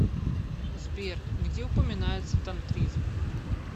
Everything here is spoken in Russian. сбер где упоминается тантризм